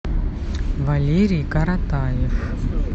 валерий каратаев